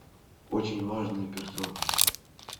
очень важные персоны